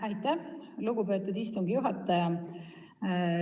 Aitäh, lugupeetud istungi juhataja!